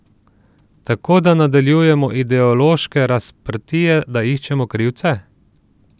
Tako da nadaljujemo ideološke razprtije, da iščemo krivce?